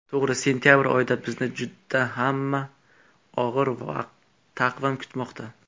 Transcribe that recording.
To‘g‘ri, sentabr oyida bizni juda ham og‘ir taqvim kutmoqda.